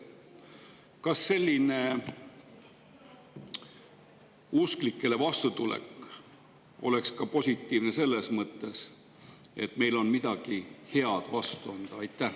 Kas selline usklikele vastutulek oleks ka positiivne selles mõttes, et meil on neile midagi head vastu anda?